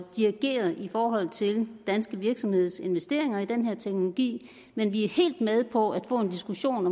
dirigere i forhold til danske virksomhedsinvesteringer i den her teknologi men vi er helt med på at få en diskussion